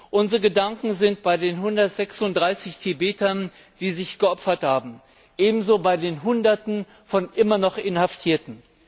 Unsere Gedanken sind bei den 136 Tibetern, die sich geopfert haben, ebenso bei den Hunderten von immer noch Inhaftierten.